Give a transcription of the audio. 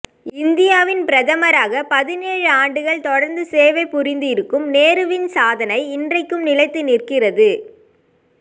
இந்தியாவின் பிரதமராகப் பதினேழு ஆண்டுகள் தொடர்ந்து சேவை புரிந்து இருக்கும் நேருவின் சாதனை இன்றைக்கும் நிலைத்து நிற்கிறது